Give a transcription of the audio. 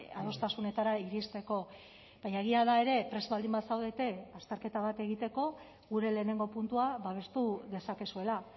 adostasunetara iristeko baina egia da ere prest baldin bazaudete azterketa bat egiteko gure lehenengo puntua babestu dezakezuela